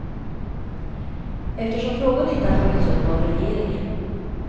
Eftersom frågan inte har tagits upp av regeringen.